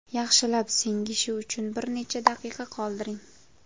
Yaxshilab singishi uchun bir necha daqiqa qoldiring.